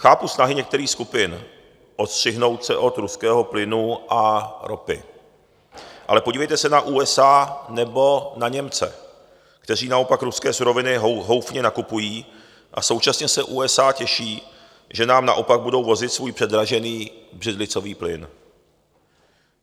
Chápu snahy některých skupin odstřihnout se od ruského plynu a ropy, ale podívejte se na USA nebo na Němce, kteří naopak ruské suroviny houfně nakupují, a současně se USA těší, že nám naopak budou vozit svůj předražený břidlicový plyn.